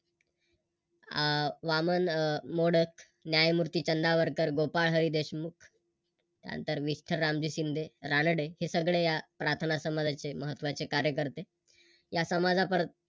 आह वामन मोडक, न्यायमूर्ती चंदावरकर, गोपाळ हरी देशमुख. त्यानंतर विठ्ठल रामजी शिंदे, रानडे हे सगळे या प्रार्थना समाजाचे महत्त्वाचे कार्यकरते. या समाजा